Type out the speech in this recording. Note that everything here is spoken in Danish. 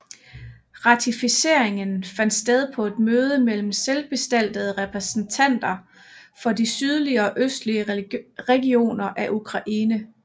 Ratificeringen fandt sted på et møde mellem selvbestaltede repræsentanter for de sydlige og østlige regioner af Ukraine